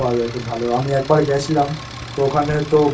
পাওয়া যায় খুব ভালো। আমি একবার গেছিলাম তো ওখানে তো